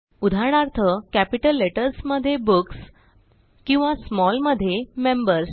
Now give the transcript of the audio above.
उदाहरणार्थ capital letters मध्ये books किंवा smallमध्ये मेंबर्स